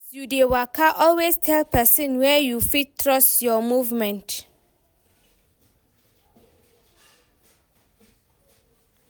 As you de waka always tell persin wey you fit trust your movement